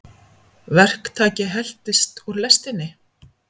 Verktaki heltist úr lestinni